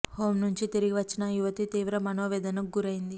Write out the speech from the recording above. home నుంచి తిరిగి వచ్చిన ఆ యువతి తీవ్ర మనోవేదనకు గురైంది